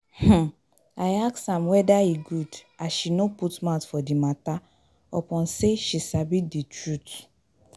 um I ask am weda e good as she no put mouth for di mata upon sey she sabi di trut.